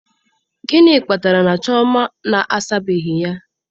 Gịnị kpatara na Chioma na-asabeghị ya?